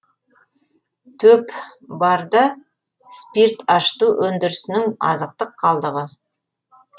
төп барда спирт ашыту өндірісінің азықтық қалдығы